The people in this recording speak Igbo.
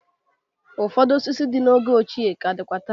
Ụfọdụ osisi dị n'oge ọchịe ka dịkwa taa.